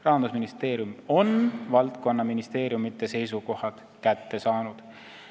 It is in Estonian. Rahandusministeerium on valdkonnaministeeriumide seisukohad kätte saanud.